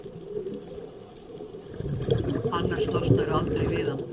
annars losnarðu aldrei við hann.